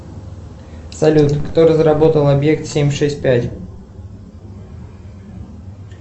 салют кто разработал объект семь шесть пять